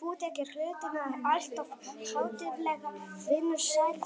Þú tekur hlutina alltof hátíðlega, vinur sæll,